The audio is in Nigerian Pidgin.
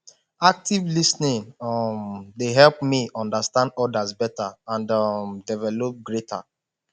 active lis ten ing um dey help me understand others beta and um develop greater